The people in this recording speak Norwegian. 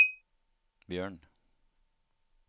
Bjørn